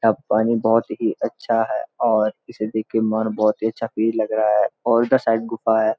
अब पानी बहोत ही अच्‍छा है और इसे देख के मन बहोत ही अच्‍छा फील लग रहा है और उदर साईड गुफा है।